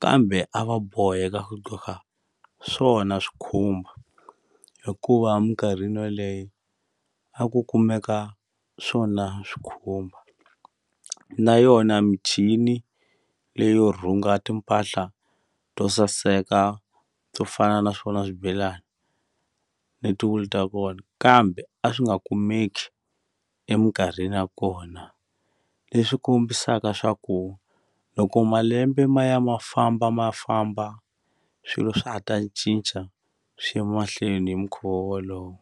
kambe a va boheka ku qhoka swona swikhumba hikuva minkarhini yoleyo a ku kumeka swona swi khumba na yona michini leyo rhunga timpahla to saseka to fana na swona swibelani hi ti wulu ta kona kambe a swi nga kumeki eminkarhini ya kona leswi kombisaka swa ku loko malembe ma ya ma famba ma famba swilo swa ha ta cinca swi ya mahlweni hi mukhuva wolowo.